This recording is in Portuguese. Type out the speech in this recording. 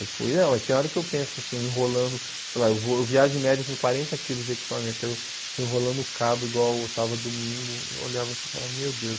Eu fui, não, tem hora que eu penso, assim, enrolando, sei lá, eu vou viajo de média com quarenta quilos de equipamento, eu estou enrolando o cabo igual eu estava domingo, eu olhava assim e falava, meu Deus.